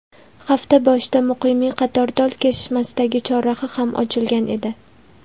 Hafta boshida Muqimiy Qatortol kesishmasidagi chorraha ham ochilgan edi.